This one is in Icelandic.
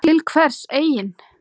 Til hvers eigin